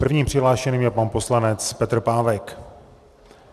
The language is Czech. Prvním přihlášeným je pan poslanec Petr Pávek.